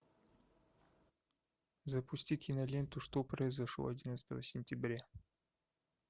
запусти киноленту что произошло одиннадцатого сентября